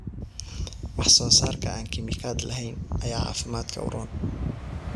Wax soo saarka aan kiimikaad lahayn ayaa caafimaadka u roon.